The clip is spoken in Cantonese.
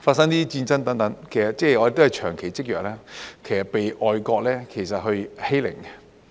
發生戰爭等，其實我們是長期積弱，被外國欺凌。